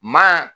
Maa